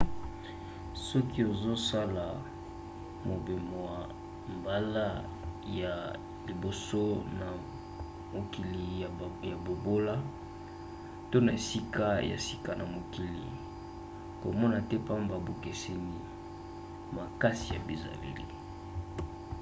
soki ozosala mobemoa mbala ya liboso na mokili ya bobola - to na esika ya sika na mokili - komona te pamba bokeseni makasi ya bizaleli